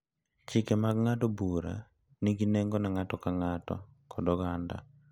Chike mag ng’ado bura nigi nengo ne ng’ato ka ng’ato kod oganda.